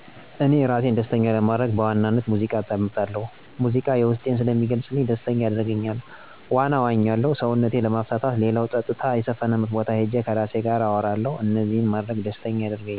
እኔ እራሴን ደስተኛ ለማድረግ በዋናነት ሙዚቃ አዳምጣለሁ ሙዚቃ የዉስጤን ስለሚገልጽልኝ ደስተኛ ያደርገኛ፣ ዋና እዋኛለሁ ሰዉነቴን ለማፍታታት ሌላዉ ፀጥታ የሰፈነበት ቦታ ሄጄ እራሴ ጋር አወራለሁ እነዚህን ማድረግ ደስተኛ ያደርገኛል።